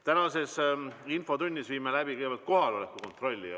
Tänases infotunnis viime läbi kõigepealt kohaloleku kontrolli.